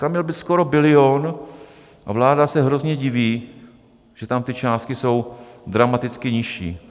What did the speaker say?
Tam měl být skoro bilion a vláda se hrozně diví, že tam ty částky jsou dramaticky nižší.